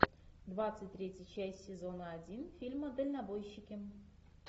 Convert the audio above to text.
двадцать третья часть сезона один фильма дальнобойщики